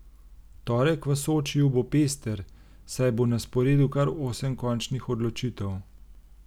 Torek v Sočiju bo pester, saj bo na sporedu kar osem končnih odločitev.